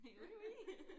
Oui oui